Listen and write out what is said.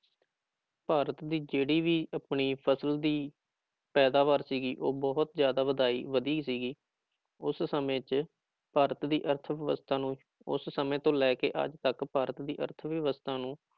ਭਾਰਤ ਦੀ ਜਿਹੜੀ ਵੀ ਆਪਣੀ ਫ਼ਸਲ ਦੀ ਪੈਦਾਵਾਰ ਸੀਗੀ ਉਹ ਬਹੁਤ ਜ਼ਿਆਦਾ ਵਧਾਈ ਵਧੀ ਸੀਗੀ, ਉਸ ਸਮੇਂ ਚ ਭਾਰਤ ਦੀ ਅਰਥਵਿਵਸਥਾ ਨੂੰ ਉਸ ਸਮੇਂ ਤੋਂ ਲੈ ਕੇ ਅੱਜ ਤੱਕ ਭਾਰਤ ਦੀ ਅਰਥਵਿਵਸਥਾ ਨੂੰ